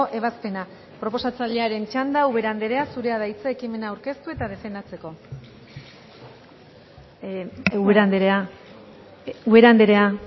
ebazpena proposatzailearen txanda ubera andrea zurea da hitza ekimena aurkeztu eta defendatzeko ubera andrea ubera andrea